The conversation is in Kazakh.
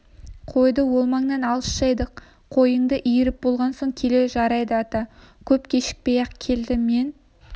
қойды ол маңнан алыс жайдық қойыңды иіріп болған соң кел жарайды ата көп кешікпей-ақ келді мен